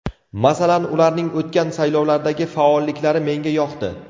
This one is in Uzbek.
Masalan, ularning o‘tgan saylovlardagi faolliklari menga yoqdi.